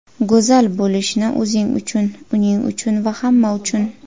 Go‘zal bo‘lishni... O‘zing uchun, uning uchun va hamma uchun.